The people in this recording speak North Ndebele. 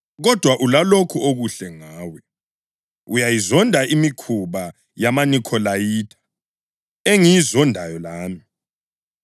Kodwa ulalokhu okuhle ngawe: Uyayizonda imikhuba yamaNikholayitha, engiyizondayo lami.